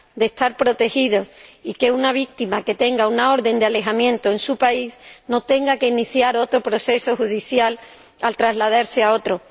estar protegidos, y que una víctima que tenga una orden de alejamiento en su país contra su agresor no tenga que iniciar otro proceso judicial al trasladarse a otro.